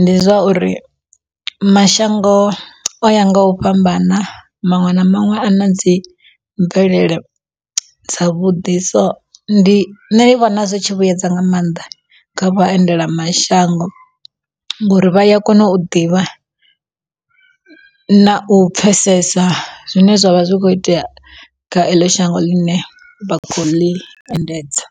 ndi zwa uri mashango o ya nga u fhambana maṅwe na maṅwe a na dzi mvelele dzavhuḓi so ndi nṋe ndi vhona zwi tshi vhuedza nga maanḓa kha vha endela mashango. Ngori vha ya kona u ḓivha na u pfhesesa zwine zwavha zwi kho itea kha eḽo shango ḽine vha kho ḽi endedza.